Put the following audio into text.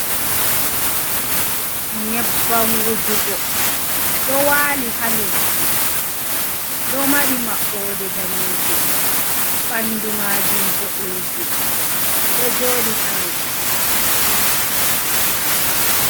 Nyebban wujugo ɗo waali ha leddi ɗo mari maɓɓode danejum ɓandu maajum bo’ɗejum ɗo jodi ha leddi.